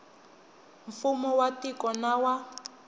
mfumo wa tiko na wa